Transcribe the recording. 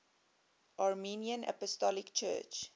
armenian apostolic church